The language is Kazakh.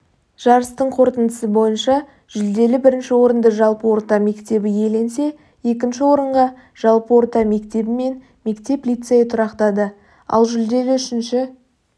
жарыстың қорытындысы бойынша жүлделі бірінші орынды жалпы орта мектебі иеленсе екінші орынға жалпы орта мектебі мен мектеп-лицейі тұрақтады ал жүлделі үшінші